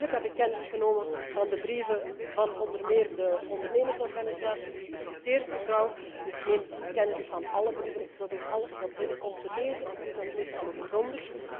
Natuurlijk heb ik kennis genomen van de brieven van onder meer de ondernemersorganisatie die u citeert, mevrouw. Ik neem kennis van alle brieven en ik probeer alles wat binnenkomt te lezen. Ik doe dat meestal ook grondig.